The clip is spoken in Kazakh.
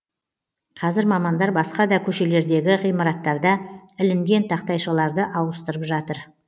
қазір мамандар басқа да көшелердегі ғимараттарда ілінген тақтайшаларды ауыстырып жатыр